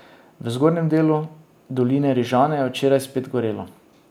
V zgornjem delu doline Rižane je včeraj spet gorelo.